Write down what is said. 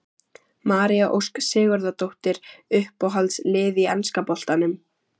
María Ósk Sigurðardóttir Uppáhalds lið í enska boltanum?